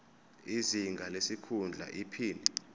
izinga lesikhundla iphini